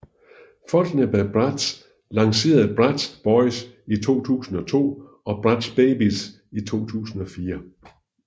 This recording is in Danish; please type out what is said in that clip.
Folkene bag Bratz lancerede Bratz Boyz i 2002 og Bratz Babyz i 2004